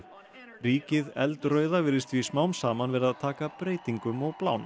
ríkið virðist því smám saman vera að taka breytingum og blána